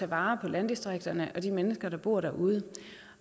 vare på landdistrikterne og de mennesker der bor derude